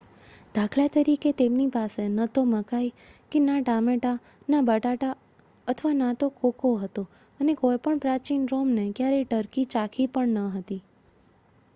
દાખલા તરીકે તેમની પાસે ન તો મકાઈ કે ના ટામેટાં ના બટાટા અથવા ના તો કોકો હતો અને કોઈ પણ પ્રાચીન રોમને ક્યારેય ટર્કી ચાખી પણ ન હતી